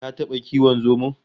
Ka taba kiwon zomo?